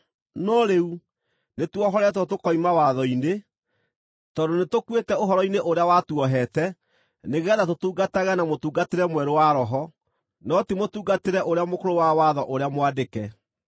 No rĩu, nĩtuohoretwo tũkoima watho-inĩ, tondũ nĩtũkuĩte ũhoro-inĩ ũrĩa watuohete nĩgeetha tũtungatage na mũtungatĩre mwerũ wa Roho, no ti mũtungatĩre ũrĩa mũkũrũ wa watho ũrĩa mwandĩke.